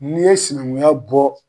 N'i ye sinaŋunya bɔ